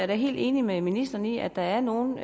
da helt enig med ministeren i at der er nogle